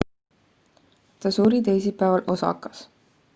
ta suri teisipäeval osakas